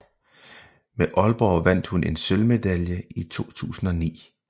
Med Aalborg vandt hun en sølvmedalje i 2009